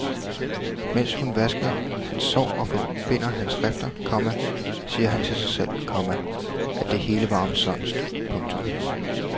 Mens hun vasker hans sår og forbinder hans rifter, komma siger han til sig selv, komma at det hele var omsonst. punktum